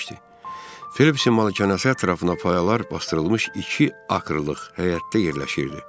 Felipsin malikanəsi ətrafına payalar basdırılmış iki akrılıq həyətdə yerləşirdi.